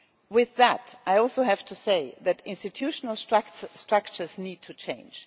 With that, I also have to say that the institutional structures need to change.